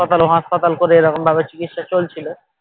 এ হাসপাতাল ও হাসপাতাল করে চিকিৎসা চলছিল